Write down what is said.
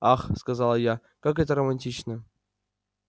ах сказала я как это романтично